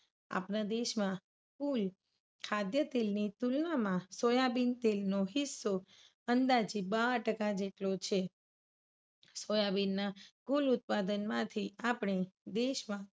આપણા દેશમાં કુલ ખાદ્યતેલ ની તુલનામાં સોયાબીન તેલનું તેલ નો હિસ્સો અંદાજે બાર ટકા જેટલો છે. સોયાબીનના કુલ ઉત્પાદનમાંથી આપણે દેશમાં